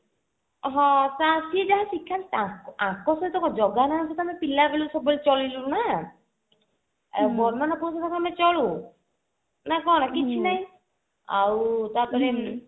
ହଁ ଯାହା ଶିଖାନ୍ତି ୟାଙ୍କ ସହିତ କଣ ଜାଗା ନା କୁ ତ ଆମେ ପିଲା ବେଳୁ ସବୁବେଳେ ଚଳିଲୁ ନା ଆଉ ବଡ ନନା ସହ କଣ ଆମେ ଚଳୁ ନ କଣ କିଛି ନାଇଁ ଆଉ ତାପରେ